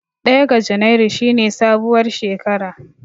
Ɗaya ga junairu shi ne sabuwar shekara.